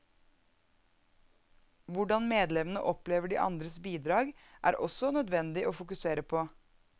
Hvordan medlemmene opplever de andres bidrag, er også nødvendig å fokusere på.